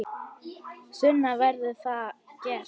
Sunna: Verður það gert?